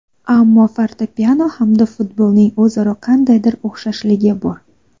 Ammo fortepyano hamda futbolning o‘zaro qandaydir o‘xshashligi bor.